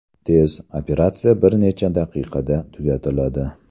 Tez: operatsiya bir necha daqiqada tugatiladi.